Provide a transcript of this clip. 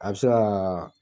A bi se ka .